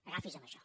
agafi’s a això